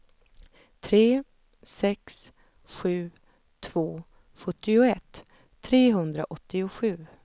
tre sex sju två sjuttioett trehundraåttiosju